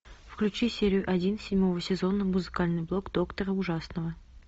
включи серию один седьмого сезона музыкальный блог доктора ужасного